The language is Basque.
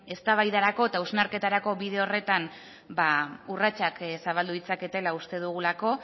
eztabaidarako eta hausnarketarako bide horretan urratsak zabaldu ditzaketela uste dugulako